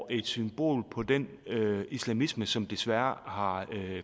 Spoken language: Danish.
et symbol på den islamisme som desværre har